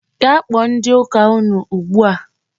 Gaa kpọọ ndị ụka unu ugbu a!